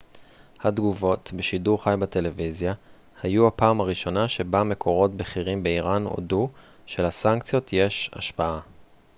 התגובות בשידור חי בטלוויזיה היו הפעם הראשונה שבה מקורות בכירים באיראן הודו שלסנקציות יש השפעה